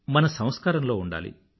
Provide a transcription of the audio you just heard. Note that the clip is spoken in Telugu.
మన సంస్కారంలో ఉండాలి